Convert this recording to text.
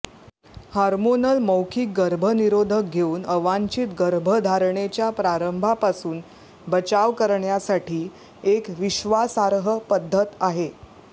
hormonal मौखिक गर्भनिरोधक घेऊन अवांछित गर्भधारणेच्या प्रारंभापासून बचाव करण्यासाठी एक विश्वासार्ह पद्धत आहे